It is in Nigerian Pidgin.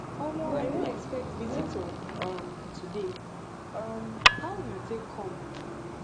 omo i no expect visitor um today um how una take come